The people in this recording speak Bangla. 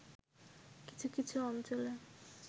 কিছু কিছু অঞ্চলে